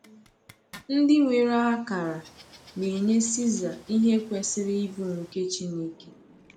Ndị nwere akara na-enye Caesar ihe kwesịrị ịbụ nke Chineke.